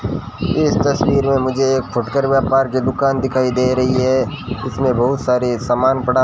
इस तस्वीर में मुझे एक फुटकर व्यापार की दुकान दिखाई दे रही है इसमें बहुत सारे सामान पड़ा --